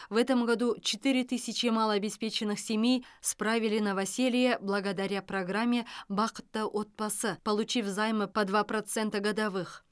в этом году четыре тысячи малообеспеченных семей справили новоселье благодаря программе бақытты отбасы получив займы по два процента годовых